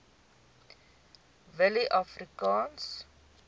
willieafrikaanse